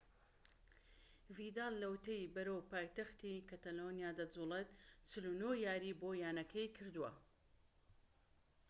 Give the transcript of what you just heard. ڤیداڵ لەوەتەی بەرەو پایتەختی کەتەلۆنیا دەجوڵێت 49 یاریی بۆ یانەکە کردووە